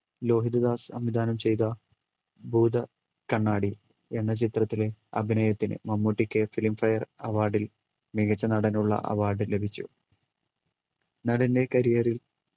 ലോഹിതദാസ് സംവിധാനം ചെയ്ത ഭൂത ക്കണ്ണാടി എന്ന ചിത്രത്തിലെ അഭിനയത്തിന് മമ്മൂട്ടിക്ക് filmfare award ൽ മികച്ച നടനുള്ള award ലഭിച്ചു നടൻ്റെ career ൽ